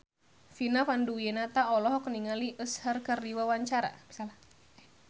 Vina Panduwinata olohok ningali Usher keur diwawancara